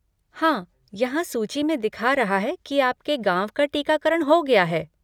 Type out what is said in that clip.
हाँ, यहाँ सूची में दिखा रहा है कि आपके गाँव का टीकाकरण हो गया है।